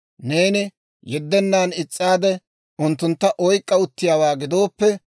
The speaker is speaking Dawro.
Neeni yeddennan is's'aade, unttuntta oyk'k'a uttiyaawaa gidooppe,